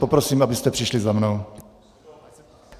Poprosím, abyste přišli za mnou.